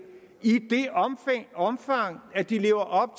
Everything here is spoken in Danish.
omfang at de lever